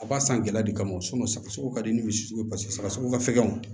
A b'a san gɛlɛya de kama sɔgɔsɔgɔ ka di ni misi sugu ye paseke sɔgɔsɔgɔ ka fɛgɛn o